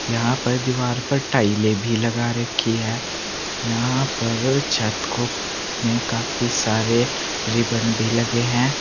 यहां पर दीवार पर टाइलें भी लगा रखी है यहां पर छत को में काफी सारे रिबन भी लगे हैं।